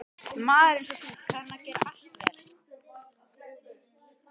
Maður einsog þú kann að gera allt vel.